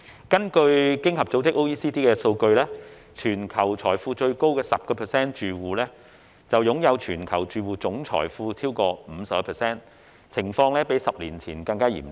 根據經濟合作與發展組織的數據，全球財富最高的 10% 住戶擁有全球住戶超過 50% 的總財富，情況較10年前更嚴重。